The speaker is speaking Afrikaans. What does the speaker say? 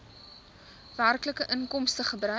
werklike inkomstes gebruik